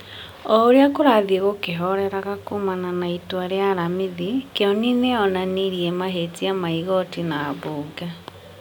O ũrĩa kũrathiĩ gũkĩhoreraga kuumana na itua rĩa aramithi, Kĩoni nĩ onanirie mahĩtia ma igooti na mbunge,